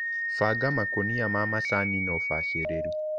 Banga makũnia ma macani na ũbacĩrĩru.